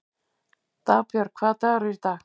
Dagbjörg, hvaða dagur er í dag?